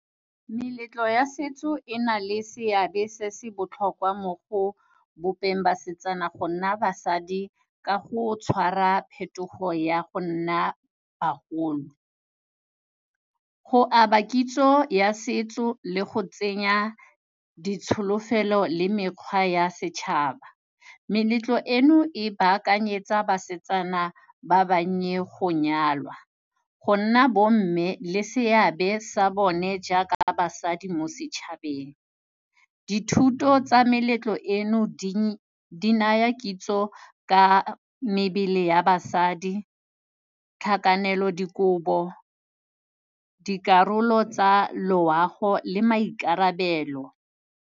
Meletlo ya setso e nale seabe se se botlhokwa mo go bopeng basetsana go nna basadi ka go tshwara phetogo ya go nna bagolo. Go aba kitso ya setso le go tsenya ditsholofelo le mekgwa ya setšhaba, meletlo eno e ba akanyetsa basetsana ba bannye go nyalwa, go nna bo mme le seabe sa bone jaaka basadi mo setšhabeng. Dithuto tsa meletlo eno di naya kitso ka mebele ya basadi, tlhakanelo dikobo, dikarolo tsa loago le maikarabelo.